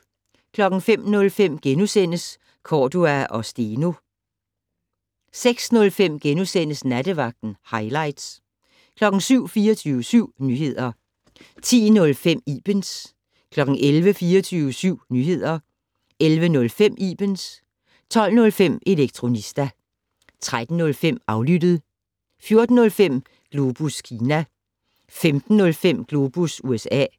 05:05: Cordua & Steno * 06:05: Nattevagten - hightlights * 07:00: 24syv Nyheder 10:05: Ibens 11:00: 24syv Nyheder 11:05: Ibens 12:05: Elektronista 13:05: Aflyttet 14:05: Globus Kina 15:05: Globus USA